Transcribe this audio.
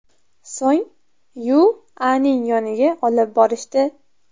So‘ng Yu.A.ning yoniga olib borishdi.